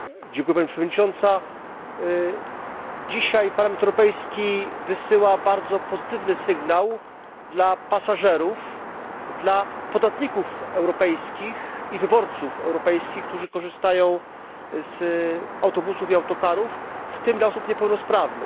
Pani Przewodnicząca! Dzisiaj Parlament Europejski wysyła bardzo pozytywny sygnał dla pasażerów, dla podatników i wyborców europejskich, którzy korzystają z autobusów i autokarów, w tym dla osób niepełnosprawnych.